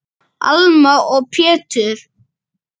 Alma og Pétur.